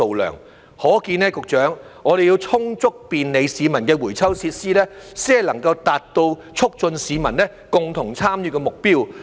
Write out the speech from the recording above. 由此可見，局長，我們要有充足便利市民的回收設施，才能達到促進市民共同參與的目標。